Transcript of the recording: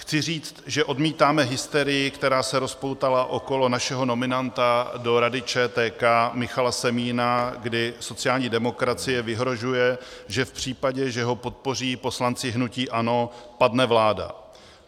Chci říct, že odmítáme hysterii, která se rozpoutala okolo našeho nominanta do Rady ČTK Michala Semína, kdy sociální demokracie vyhrožuje, že v případě, že ho podpoří poslanci hnutí ANO, padne vláda.